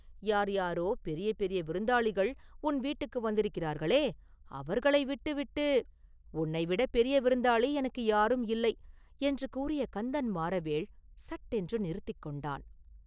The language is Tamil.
யார், யாரோ, பெரிய பெரிய விருந்தாளிகள் உன் வீட்டுக்கு வந்திருக்கிறார்களே, அவர்களை விட்டுவிட்டு..” “உன்னைவிடப் பெரிய விருந்தாளி எனக்கு யாரும் இல்லை!..” என்று கூறிய கந்தன் மாறவேள் சட்டென்று நிறுத்திக் கொண்டான்.